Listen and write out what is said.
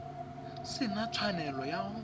se na tshwanelo ya go